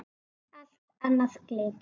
Allt annað gleymt.